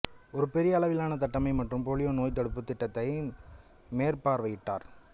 ஒரு பெரிய அளவிலான தட்டம்மை மற்றும் போலியோ நோய்த்தடுப்பு திட்டத்தை மேற்பார்வையிட்டார்